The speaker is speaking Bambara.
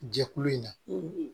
Jɛkulu in na